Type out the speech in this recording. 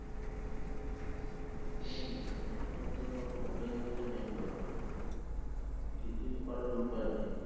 হম এখন তো ওটাই হচ্ছে main ব্যাপার কিছুই করার উপায় নেই।